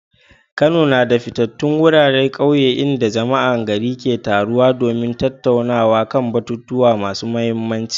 Kano na da fitattun wuraren kauye inda jama'ar gari ke taruwa domin tattaunawa kan batutuwa masu mahimmanci.